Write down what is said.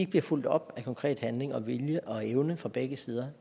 bliver fulgt op af konkret handling vilje og evne fra begge sider